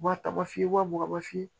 Wa tabafiye wa mugan f'i ye